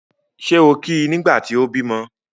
Ṣé o kí i nígbà tí o bímọ́?